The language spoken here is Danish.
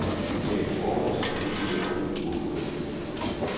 Det er et forhold, som han nu søger at råde bod på.